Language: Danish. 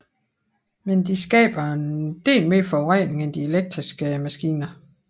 Men de skaber en del mere forurening end de elektriske maskiner